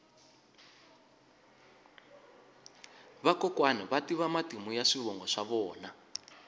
vakokwani va tiva matimu ya swivongo swa vona